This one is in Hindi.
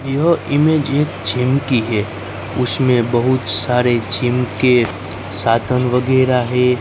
यह इमेज एक जिम की है उसमें बहुत सारे जिम के साधन वगैरह है।